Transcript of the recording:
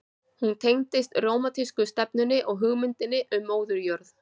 Hún tengdist rómantísku stefnunni og hugmyndinni um móður jörð.